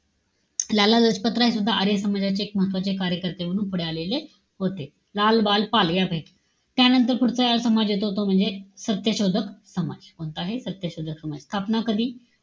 लाला लजपत राय सुद्धा आर्य समाजाचे एक महत्वाचे कार्यकर्ते म्हणून पुढे आलेले होते. लाल, बाल, पाल. त्यानंतर पुढचा समाज येतो तो म्हणजे, सत्यशोधक समाज. कोणता आहे? सत्यशोधक समाज. स्थापना कधी?